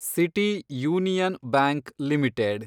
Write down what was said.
city Union Bank limited